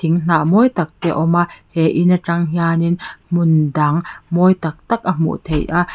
mawi tak te a awm a he in a tang hian in hmun dang mawi tak tak a hmuh theih a.